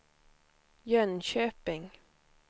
Jönköping